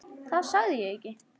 Það sagði ég ekki